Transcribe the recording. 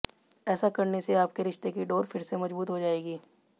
ऐसा करने से आपके रिश्ते की डोर फिर से मजबूत हो जायेगी